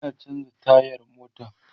Ina chanza tayar mota